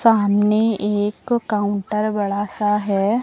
सामने एक काउंटर बड़ा सा है।